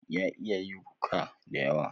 Ya iya yaruka dayawa